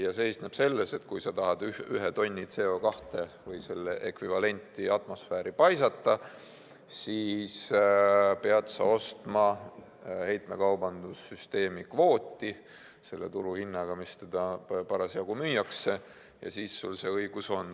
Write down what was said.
See seisneb selles, et kui sa tahad ühe tonni CO2 või selle ekvivalenti atmosfääri paisata, siis pead sa ostma heitmekaubanduse süsteemi kvooti selle turuhinnaga, millega seda parasjagu müüakse, ja siis sa saad selle õiguse.